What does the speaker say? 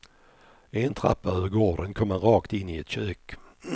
En trappa över gården kom man rakt in i ett kök.